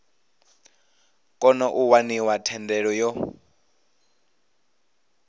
kona u waniwa thendelo yo